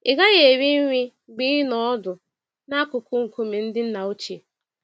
Ị gaghị eri nri mgbe ị nọ ọdụ n'akụkụ nkume ndị nna ochie.